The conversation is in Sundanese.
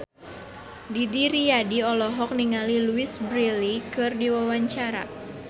Didi Riyadi olohok ningali Louise Brealey keur diwawancara